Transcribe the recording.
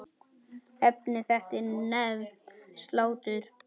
Efni þetta er nefnt slátur.